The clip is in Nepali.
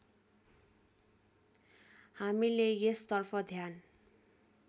हामीले यसतर्फ ध्यान